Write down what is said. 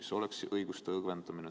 See oleks õiguste õgvendamine.